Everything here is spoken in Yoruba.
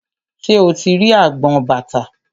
Ṣé o ti rí agbọn bàtà?